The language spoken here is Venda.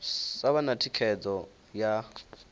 sa vha na thikhedzo ya